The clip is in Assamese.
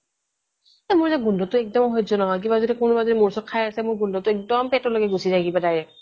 এ মোৰ যে গোন্ধ টো একদম সহ্য় নহয় কিবা যদি কোনোবা যদি মোৰ ওচৰত খাই আছে মোৰ গোন্ধ টো একদম পেটলৈকে গুচি যায় কিবা এটা